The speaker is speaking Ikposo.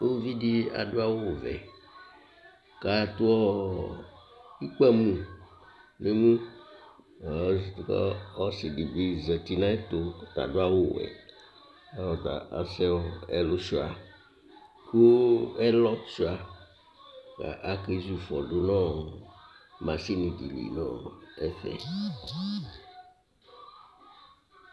Ʋvidí adu awu vɛ kʋ adu ikpamu nʋ ɛmu kʋ ɔsidi bi zɛti nʋ ayɛtʋ kʋ adu awu wɛ kʋ asɛ ɛlu suia kʋ ake zu ifɔ du nʋ masini di nʋ ɛfɛ